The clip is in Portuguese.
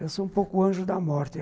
Eu sou um pouco o anjo da morte.